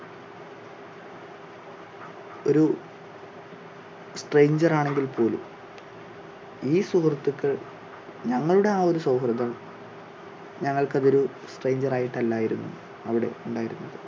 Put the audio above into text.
ഒരു stranger ാണെങ്കിൽ പോലും ഈ സുഹൃത്തുക്കൾ ഞങ്ങളുടെ ആ ഒരു സൗഹൃദം ഞങ്ങൾക്ക് അത് ഒരു stranger ായിട്ടല്ലായിരുന്നു അവിടെ ഉണ്ടായിരുന്നത്.